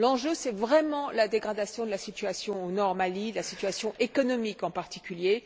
L'enjeu, c'est vraiment la dégradation de la situation au nord du Mali, de la situation économique, en particulier.